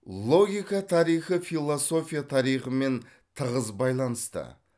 логика тарихы философия тарихымен тығыз байланысты